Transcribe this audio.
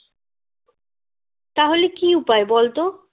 তাহলে কী উপায় বলতো